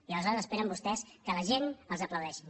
i aleshores esperen vostès que la gent els aplaudeixin